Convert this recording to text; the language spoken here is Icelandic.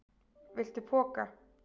Viltu poka?